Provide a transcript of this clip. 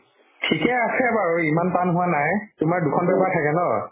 ঠিকে আছে বাৰু ইমান টান হোৱা নাই তোমাৰ দুখন paper থাকে ন